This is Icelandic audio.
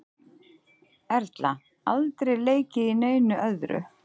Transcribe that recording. Erla: Aldrei leikið í neinu öðru?